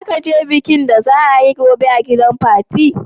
Zaka je bikin da za a yi gobe a gidan fatima?